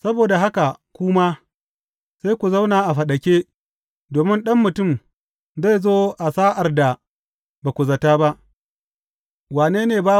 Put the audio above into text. Saboda haka ku ma, sai ku zauna a faɗake, domin Ɗan Mutum zai zo a sa’ar da ba ku za tă ba.